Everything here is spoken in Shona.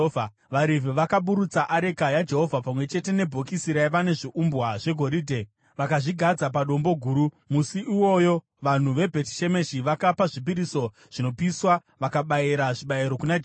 VaRevhi vakaburutsa areka yaJehovha, pamwe chete nebhokisi raiva nezviumbwa zvegoridhe, vakazvigadzika padombo guru. Musi iwoyo vanhu veBhetishemeshi vakapa zvipiriso zvinopiswa vakabayira zvibayiro kuna Jehovha.